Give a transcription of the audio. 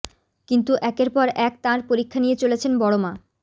কিন্তু একের পর এক তাঁর পরীক্ষা নিয়ে চলেছেন বড়মা